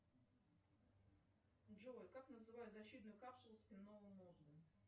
джой как называют защитную капсулу спинного мозга